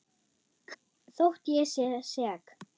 Þótt ég sé sek.